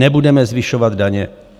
Nebudeme zvyšovat daně.